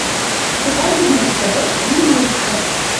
покажи мне на тв ювелирочка